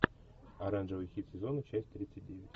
оранжевый хит сезона часть тридцать девять